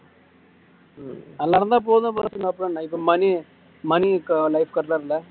நல்லா இருந்தா போதும் அப்பறம் மணி மணி இருக்~ life